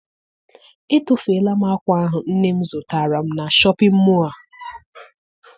Etofeela m akwa ahụ nne m zụtara m na shọpịn mọọ a.